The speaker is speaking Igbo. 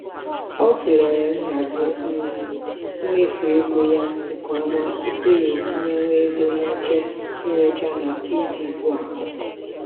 o tụlere nhazi um mmefu ego ya nke ọma tupu ya etinyewe ego n'oche nrecha na tiivii bu akọ.